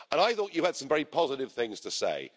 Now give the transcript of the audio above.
I thought you had some very positive things to say.